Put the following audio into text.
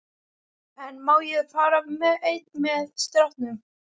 En má ég þá fara einn með strákunum?